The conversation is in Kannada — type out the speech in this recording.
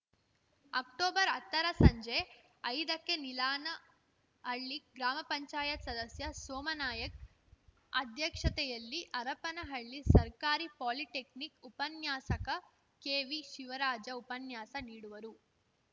ಅಕ್ಟೊಬರ್ಅತ್ತರ ಸಂಜೆ ಐದಕ್ಕೆ ನೀಲಾನಹಳ್ಳಿ ಗ್ರಾಮ ಪಂಚಾಯತ್ ಸದಸ್ಯ ಸೋಮಾನಾಯ್ಕ ಅಧ್ಯಕ್ಷತೆಯಲ್ಲಿ ಹರಪನಹಳ್ಳಿ ಸರ್ಕಾರಿ ಪಾಲಿಟೆಕ್ನಿಕ್‌ ಉಪನ್ಯಾಸಕ ಕೆವಿಶಿವರಾಜ ಉಪನ್ಯಾಸ ನೀಡುವರು